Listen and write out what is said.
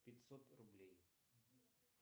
пятьсот рублей